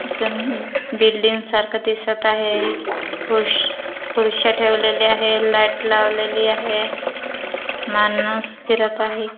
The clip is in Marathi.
बिल्डिंग सारख दिसत आहे खु खुर्च्या ठेवलेल्या आहेत लाइट लावलेली आहे माणुस फिरत आहे.